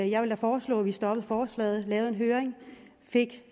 jeg vil da foreslå at vi stoppede forslaget lavede en høring fik